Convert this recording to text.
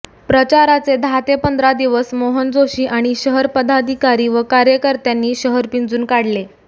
प्रचाराचे दहा ते पंधरा दिवस मोहन जोशी आणि शहर पदाधिकारी व कार्यकर्त्यांनी शहर पिंजून काढले